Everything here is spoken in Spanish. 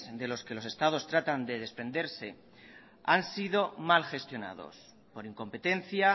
de los que los estados tratan de desprenderse han sido mal gestionados por incompetencia